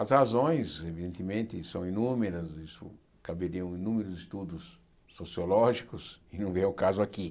As razões, evidentemente, são inúmeras, isso caberiam inúmeros estudos sociológicos que não vêm ao caso aqui.